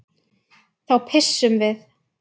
Þá pissum við.